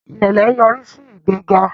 irẹlẹ nyorisi sí ìgbéga